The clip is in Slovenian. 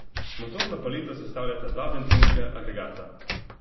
Motorno paleto sestavljata dva bencinska agregata.